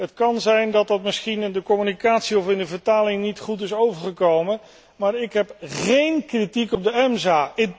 Het kan zijn dat dat misschien in de communicatie of in de vertaling niet goed is overgekomen, maar ik heb géén kritiek op het EMSA.